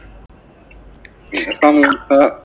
samosa